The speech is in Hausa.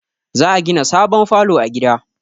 Za a gina sabon falo a gida